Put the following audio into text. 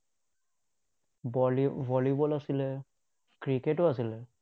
বলি volleyball আছিলে, ক্ৰিকেটো আছিলে।